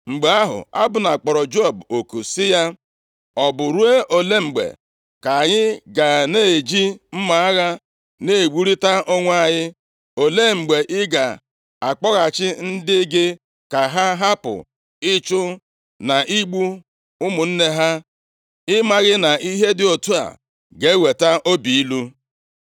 Mgbe ahụ, Abna kpọrọ Joab oku sị ya, “Ọ bụ ruo ole mgbe ka anyị ga na-eji mma agha na-egburita onwe anyị? Olee mgbe ị ga-akpọghachi ndị gị ka ha hapụ ịchụ na igbu ụmụnne ha? Ị maghị na ihe dị otu a ga-eweta obi ilu?”